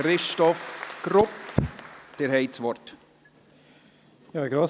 Der Bericht zu den Ergebnissen UDR, Phase I, ist mit folgender Auflage zurückzuweisen: